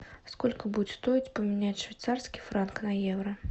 сколько будет стоить поменять швейцарский франк на евро